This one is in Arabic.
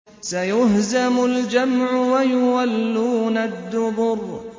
سَيُهْزَمُ الْجَمْعُ وَيُوَلُّونَ الدُّبُرَ